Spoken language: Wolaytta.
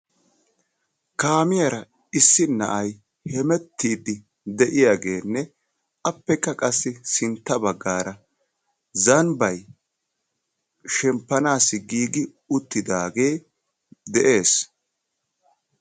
Kaamiyara issi na'ayi hemettiiddi de'iyageenne appekka qassi sintta baggaara zambbayi shempoanaassi giigi uttidaagee de"es.